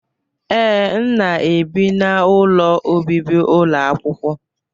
Ee, m na-ebi n'ụlọ obibi ụlọ akwụkwọ.